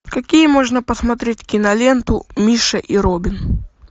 какие можно посмотреть киноленту миша и робин